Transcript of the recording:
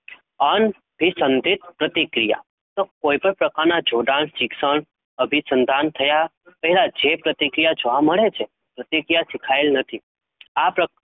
અન સંદિત પ્રતિક્રિયા કોઈ પણ પ્રકારના જોડાણ શિક્ષણ અભી સંતાન થયા પહેલાં જોવા મળે છે? પ્રક્રિયા સિખાયેલ નથી,